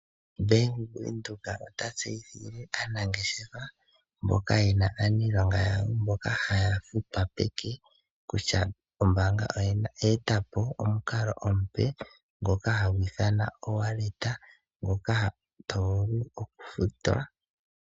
Bank Windhoek ota tseyithile aanangeshefa mboka yena aanilonga yawo haya futwa peke, kutya ombaanga oye etapo omukalo omupe ngoka hagu ithanwa o Wallet, ngoka tovulu okufutwa nago.